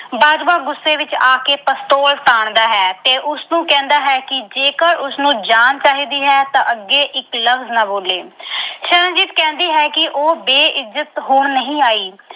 ਬਾਜਵਾ ਗੁੱਸੇ ਵਿੱਚ ਆ ਕੇ pistol ਤਾਣਦਾ ਹੈ ਤੇ ਉਸਨੂੰ ਕਹਿੰਦਾ ਹੈ ਜੇਕਰ ਉਸਨੂੰ ਜਾਨ ਚਾਹੀਦੀ ਹੈ ਤਾਂ ਅੱਗੇ ਇੱਕ ਲਫਜ ਨਾ ਬੋਲੇ। ਸ਼ਰਨਜੀਤ ਕਹਿੰਦੀ ਹੈ ਕਿ ਉਹ ਬੇਇਜਤ ਹੋਣ ਨਹੀਂ ਆਈ।